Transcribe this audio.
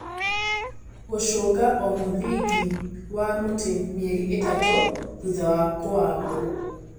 Gũcũnga o mũthingi wa mũtĩ mĩeri ĩtatũ thutha wa kũwambwo